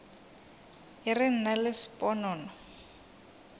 e re nna le sponono